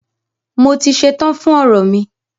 Mo ti ṣetán fún ọ̀rọ̀ mi.